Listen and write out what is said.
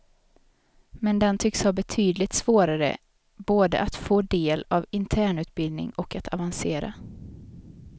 Men den tycks ha betydligt svårare både att få del av internutbildning och att avancera.